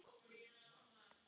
Ég bauð henni stundum hingað.